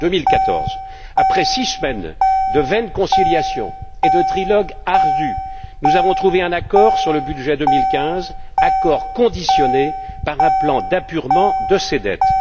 2014. Après six semaines de vaines conciliations et de trilogues ardus, nous avons trouvé un accord sur le budget 2015, accord conditionné par un plan d'apurement de ces dettes.